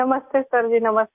नमस्ते सर जी नमस्ते